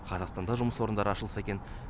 қазақстанда жұмыс орындары ашылса екен